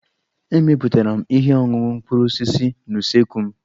Emepụtara m ihe ọṅụṅụ mkpụrụ osisi n'usekwu m.